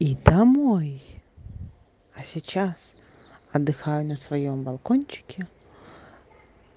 и домой а сейчас отдыхаю на своём балкончике